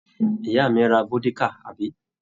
Ìyá mi ra vódíkà, àbí?